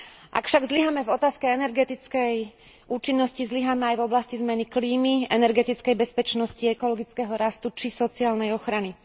Ak však zlyháme v oblasti energetickej účinnosti, zlyháme aj v oblasti zmeny klímy, energetickej bezpečnosti, ekologického rastu či sociálnej ochrany.